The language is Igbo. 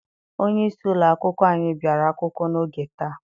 Onyeisi ụlọakwụkwọ anyị bịara akwụkwọ n'oge taa.